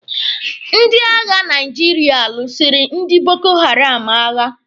Ndị agha Naijiria lụsịrị ndi Boko Haram agha.